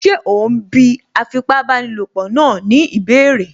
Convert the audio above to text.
Ṣé òún bí afipábanílòpọ̀ náà ní ìbéèrè?